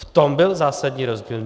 V tom byl zásadní rozdíl.